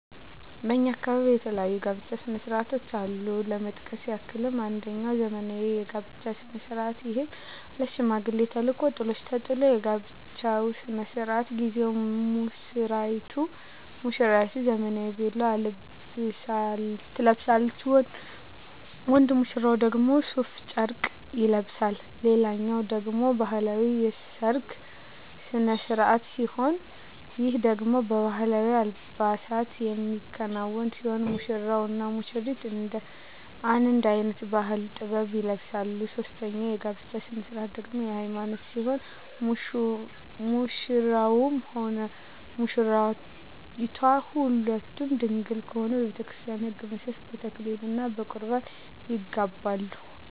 በእኛ አካባቢ የተለያዩ የጋብቻ ስነ ስርዓቶች አሉ ለመጥቀስ ያክል አንጀኛው ዘመናዊ የጋብቻ ስነ ስርዓት ይህም ማለት ሽማግሌ ተልኮ ጥሎሽ ተጥሎ የጋብቻው ስነ ስርዓት ጊዜ ሙስራይቱ ዘመናዊ ቬሎ ትለብሳለች ወንድ ሙሽራው ደግሞ ሡፍ ጨርቅ ይለብሳል ሌላኛው ደግሞ ባህላዊ የሰርግ ስነ ስርዓት ሲሆን ይህ ደግሞ በባህላዊ አልባሳት የሚከናወን ሲሆን ሙሽራው እና ሙሽሪቷ አንድ አይነት ባህላዊ(ጥበብ) ይለብሳሉ ሶስተኛው የጋብቻ ስነ ስርዓት ደግሞ የሀይማኖት ሲሆን ሙሽራውም ሆነ ሙሽራይቷ ሁለቱም ድንግል ከሆኑ በቤተክርስቲያን ህግ መሠረት በተክሊል እና በቁርባን ይጋባሉ።